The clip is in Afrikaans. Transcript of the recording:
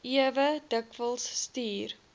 ewe dikwels stuur